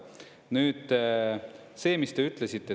Nüüd see, mis te ütlesite.